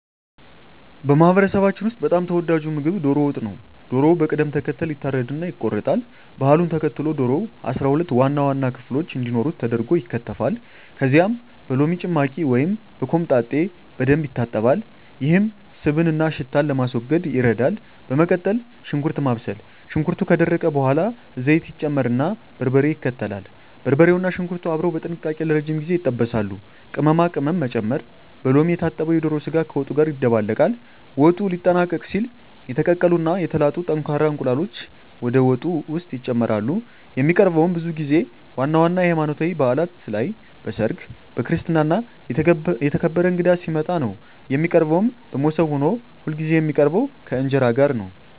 በማህበረሰባችን ውስጥ በጣም ተወዳጁ ምግብ ዶሮ ወጥ ነው። ዶሮው በቅደም ተከተል ይታረድና ይቆረጣል። ባህሉን ተከትሎ ዶሮው 12 ዋና ዋና ክፍሎች እንዲኖሩት ተደርጎ ይከተፋል። ከዚያም በሎሚ ጭማቂ ወይም በኮምጣጤ በደንብ ይታጠባል፤ ይህም ስብንና ሽታን ለማስወገድ ይረዳል። በመቀጠል ሽንኩርት ማብሰል፣ ሽንኩርቱ ከደረቀ በኋላ ዘይት ይጨመርና በርበሬ ይከተላል። በርበሬውና ሽንኩርቱ አብረው በጥንቃቄ ለረጅም ጊዜ ይጠበሳሉ። ቅመማ ቅመም መጨመር፣ በሎሚ የታጠበው የዶሮ ስጋ ከወጡ ጋር ይደባለቃል። ወጡ ሊጠናቀቅ ሲል የተቀቀሉ እና የተላጡ ጠንካራ እንቁላሎች ወደ ወጡ ውስጥ ይጨመራሉ። የሚቀርበውም ብዙ ጊዜ ዋና ዋና የሀይማኖታዊ ባእላት ላይ፣ በሰርግ፣ በክርስትና እና የተከበረ እንግዳ ሲመጣ ነው። የሚቀርበውም በሞሰብ ሆኖ ሁልጊዜ የሚቀርበው ከእንጀራ ጋር ነው።